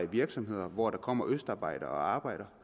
virksomheder hvor der kommer østarbejdere og arbejder